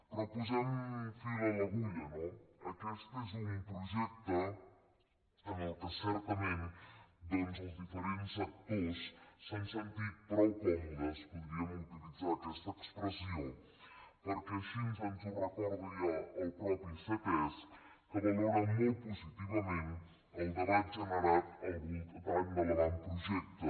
però posem fil a l’agulla no aquest és un projecte en què certament doncs els diferents actors s’han sentit prou còmodes podríem utilitzar aquesta expressió perquè així ens ho recorda el mateix ctesc que valora molt positivament el debat generat al voltant de l’avantprojecte